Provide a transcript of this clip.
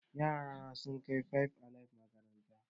Yara na sun kai five alive makaranta